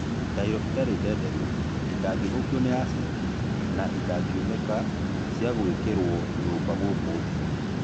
Tairo itarĩ ndenderũ , itangĩthũkio nĩ acĩndi na itangiunĩka cia gwĩkĩrwo nyũmba gũkũ thĩ.